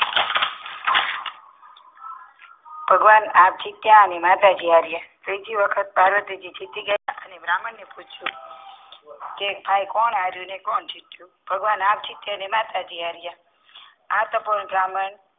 ભગવાન આપ જીત્યા અને માતાજી હાર્યા ત્રીજી વખત પાર્વતીજી જીતી ગયા અને બ્રાહ્મણ ને પૂછ્યું કે કોણ હાર્યું અને કોણ જીત્યું ભગવાન આપ જીત્યા અને માતાજી હાર્યા એ સફળ બ્રાહ્મણ